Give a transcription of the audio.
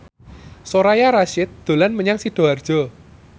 Soraya Rasyid dolan menyang Sidoarjo